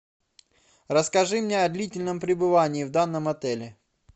расскажи мне о длительном пребывании в данном отеле